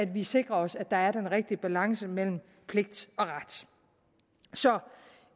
vi sikrer os at der er den rigtige balance mellem pligt og ret så